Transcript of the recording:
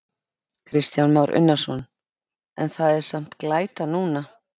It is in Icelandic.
Kristján Már Unnarsson: En það er samt glæta núna?